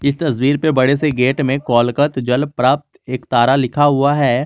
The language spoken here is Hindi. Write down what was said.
इस तस्वीर पे बड़े से गेट में कोलकत जल प्राप्त एकतारा लिखा हुआ है।